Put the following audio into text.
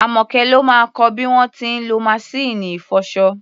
Àmọ́kẹ́ ló máa kọ bí wọ́n ti ń lọ maṣíìnì ìfọṣọ.